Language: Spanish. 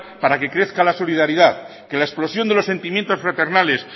para que crezca la solidaridad que la explosión de sentimientos fraternales